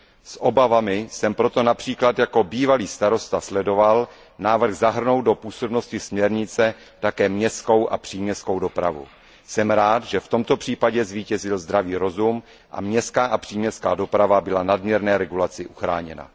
Jako bývalý starosta jsem proto například s obavami sledoval návrh zahrnout do působnosti směrnice také městskou a příměstskou dopravu. Jsem rád, že v tomto případě zvítězil zdravý rozum a městská a příměstská doprava byla nadměrné regulace uchráněna.